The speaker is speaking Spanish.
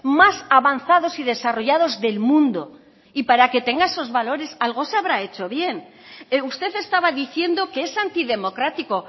más avanzados y desarrollados del mundo y para que tenga esos valores algo se habrá hecho bien usted estaba diciendo que es antidemocrático